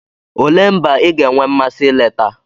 Olee mba ị ga-enwe mmasị ileta?